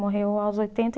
Morreu aos oitenta